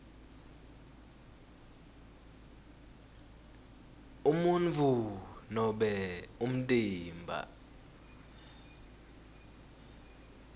umuntfu nobe umtimba